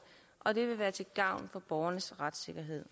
og at det vil være til gavn for borgernes retssikkerhed